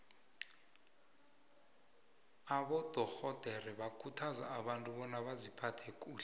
abadorhodere bakhuthaza abantu bona baziphathe kuhle